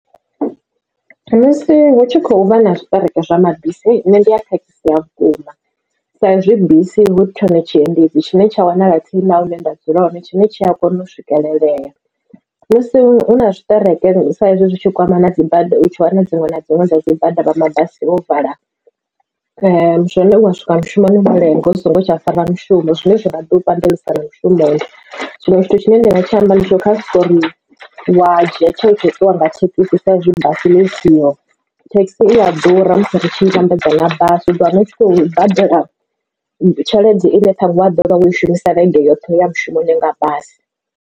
Musi hu tshi khou vha na zwiṱereke zwa mabisi nne ndi a khakhisea vhukuma sa ezwi bisi hu tshone tshiendedzi tshine tsha wanala fhethu hune nda dzula hone tshine tshi a kona u swikelelea. Musi hu na zwiṱereke sa izwi zwitshi kwama na dzibada u tshi wana dziṅwe na dziṅwe dza dzi bada vha mabasi vho vala zwone u ya swika mushumoni wo lenga u songo tsha fara mushumo. Zwine zwa nga ḓi u pandelisa na mushumo tshiṅwe tshithu tshine nda nga tshi amba ndi tsha uri khari wa dzhia tsheo tsha u ṱuwa nga thekhisi sa izwi basi ḽi siho thekhisi i ya ḓura musi ri tshi vhambedza na basi u ḓo wana u tshi khou badela tshelede ine ṱhanwe waḓo vha wo i shumisa vhege yoṱhe ya mushumoni nga basi.